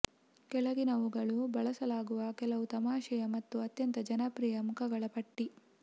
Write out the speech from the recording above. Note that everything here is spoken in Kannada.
ಕೆಳಗಿನವುಗಳು ಬಳಸಲಾಗುವ ಕೆಲವು ತಮಾಷೆಯ ಮತ್ತು ಅತ್ಯಂತ ಜನಪ್ರಿಯ ಮುಖಗಳ ಪಟ್ಟಿ